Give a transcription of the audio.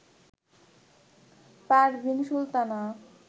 Parvin Sultana